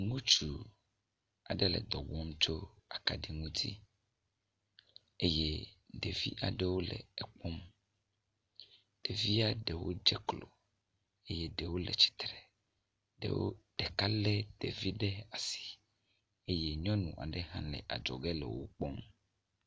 Ŋutsu aɖe le edɔ wɔm tso akaɖi ŋuti eye ɖevi aɖewo le ekpɔm. Ɖevia ɖewo dze klo eye ɖewo le tsitre. Ɖewo, ɖeka lé ɖevi ɖe asi eye nyɔnu aɖe hã le adzɔge le wokpɔm.